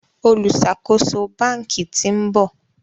oluṣakoso bánkì t'in bò.